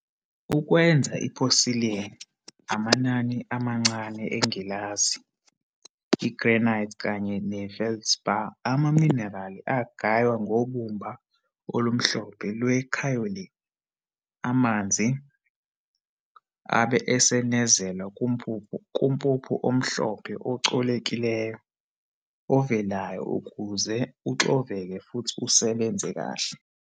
Ukwenza i-porcelain, amanani amancane engilazi, i-granite kanye ne-feldspar amaminerali agaywa ngobumba olumhlophe lwe-kaolin. Amanzi abe esenezelwa kumpuphu omhlophe ocolekileyo ovelayo ukuze uxoveke futhi usebenze kahle.